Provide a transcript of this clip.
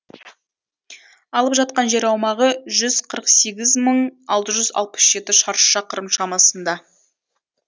алып жатқан жер аумағы жүз қырық сегіз мың алты жүз алпыс жеті шаршы шақырым шамасында